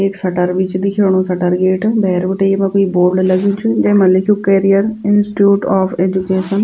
एक शटर बि च दिख्येणु शटर गेट भैर बटे येमा क्वि बोर्ड लग्यु जैमा लिख्युं कैरियर इंस्टिट्यूट ऑफ़ एजुकेशन ।